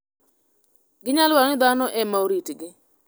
Ginyalo dwaro ni dhano e ma oritgi.